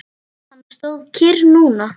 Hann stóð kyrr núna.